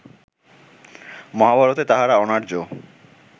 মহাভারতে তাহারা অনার্য